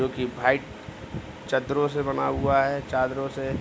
क्यूंकि वाइट चदरों से बना हुआ है चादरों से |